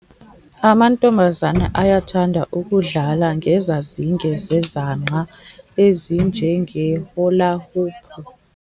Amantombazana ayakuthanda ukudlala ngezazinge zezangqa ezinjengeholahopu.